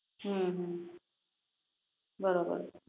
હમ બેરોબર